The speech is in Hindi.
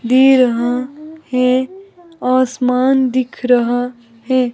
दी रहा है आसमान दिख रहा है।